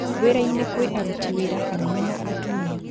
Wĩrainĩ kwĩ aruti wĩra arũme na atumia